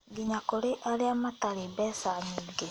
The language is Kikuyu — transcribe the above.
Nginya kũrĩ arĩa matarĩ mbeca nyingĩ.